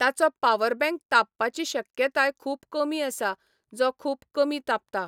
ताचो power bank तापपाची शक्यताय खूब कमी आसा जो खूब कमी तापता.